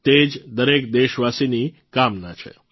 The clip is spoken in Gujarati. તે જ દરેક દેશવાસીની કામના છે